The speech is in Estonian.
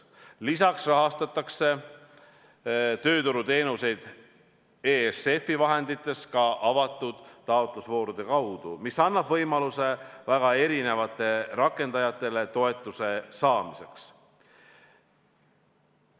Lisaks rahastatakse tööturuteenuseid ESF-i vahenditest ka avatud taotlusvoorude kaudu, mis annab võimaluse väga erinevatele rakendajatele toetuse saamiseks.